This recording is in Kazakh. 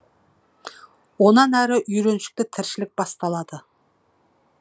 онан әрі үйреншікті тіршілік басталады